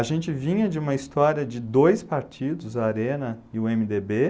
A gente vinha de uma história de dois partidos, a ARENA e o eme dê bê.